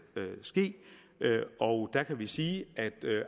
ske og der kan vi sige at